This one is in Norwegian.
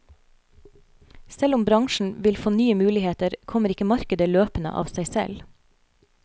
Selv om bransjen vil få nye muligheter, kommer ikke markedet løpende av seg selv.